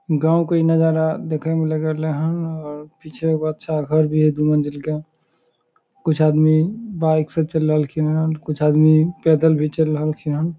गांव के इ नजारा देखे में लाग रहले हैन और पीछे एगो अच्छा घर भी है दू मंजिल के कुछ आदमी बाइक से चेल रहलखिन हैन कुछ आदमी पैदल भी चेल रहलखिन हैन।